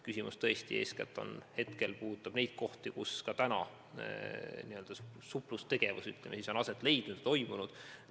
Muudatus eeskätt puudutab väiksemaid kohti, kus on, ütleme siis, suplustegevus aset leidnud, toimunud.